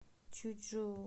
чучжоу